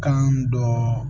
Kan dɔ